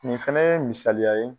Nin fɛnɛ ye misaliya ye